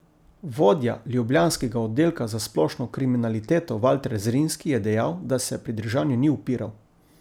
Vodja ljubljanskega oddelka za splošno kriminaliteto Valter Zrinski je dejal, da se pridržanju ni upiral.